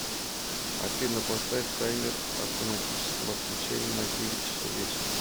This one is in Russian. афина поставь таймер автоматического отключения на девять часов вечера